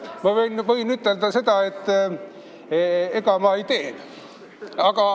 Ma võin ütelda, et ega ma seda ei tee.